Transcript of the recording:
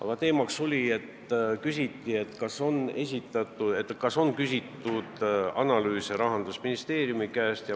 Näiteks uuriti, kas on Rahandusministeeriumi käest küsitud analüüse.